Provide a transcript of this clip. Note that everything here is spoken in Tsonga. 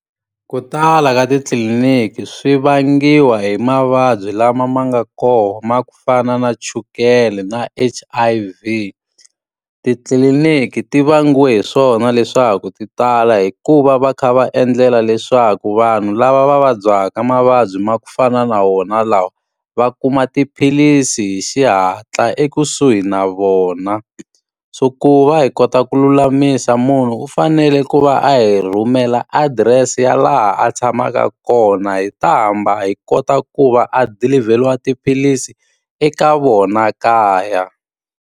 Ku tala ka titliliniki swi vangiwa hi mavabyi lama ma nga kona ku fana na chukele na H_I_V. Titliliniki ti vangiwe hi swona leswaku ti tala hikuva va kha va endlela leswaku vanhu lava va vabyaka mavabyi ma ku fana na wona lawa, va kuma tiphilisi hi xihatla ekusuhi na vona. So ku va hi kota ku lulamisa munhu u fanele ku va a hi rhumela adirese ya laha a tshamaka kona, hi ta hamba hi kota ku va a dilivheriwa tiphilisi eka vona kaya.